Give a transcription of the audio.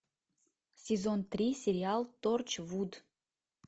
сезон три сериал торчвуд